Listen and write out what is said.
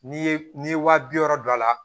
N'i ye n'i ye waa bi wɔɔrɔ don a la